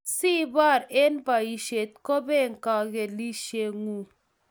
Asibor eng' poisyo ko bee kagilset ng'ung'.